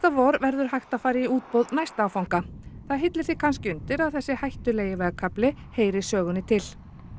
vor verður hægt að fara í útboð næsta áfanga það hillir því kannski undir að þessi hættulegi vegkafli heyri sögunni til